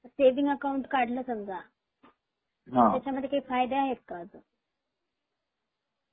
Saving account काढल समजा त्याच्या मध्ये काही फायदे आहे का ?